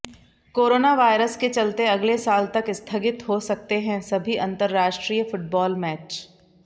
corona virus के चलते अगले साल तक स्थगित हो सकते हैं सभी अंतरराष्ट्रीय फुटबाॅल मैच